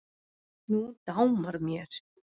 Nú dámar mér!